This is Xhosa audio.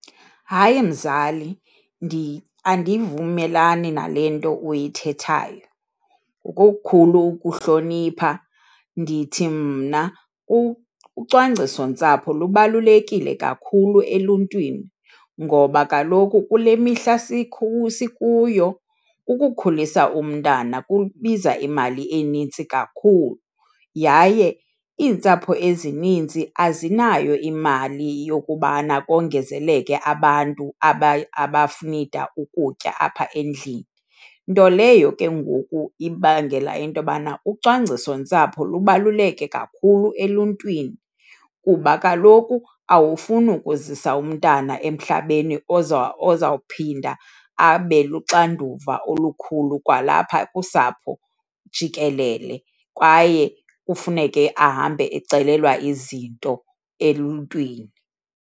Hayi, mzali. Andivumelani nale nto uyithethayo. Ngokukhulu ukuhlonipha ndithi mna ucwangciso-ntsapho lubalulekile kakhulu eluntwini ngoba kaloku kule mihla sikuyo, ukukhulisa umntana kubiza imali enintsi kakhulu, yaye iintsapho ezininzi azinayo imali yokubana kongezeleke abantu abanida ukutya apha endlini. Nto leyo ke ngoku ibangela into yobana ucwangciso-ntsapho lubaluleke kakhulu eluntwini kuba kaloku awufuni ukuzisa umntana emhlabeni ozawuphinda abe luxanduva olukhulu kwalapha kusapho jikelele kwaye kufuneke ahambe ecelelwa izinto eluntwini.